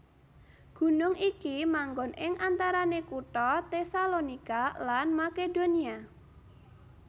Gunung iki manggon ing antarané kutha Tesalonika lan Makedonia